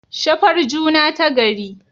Shafar juna tagari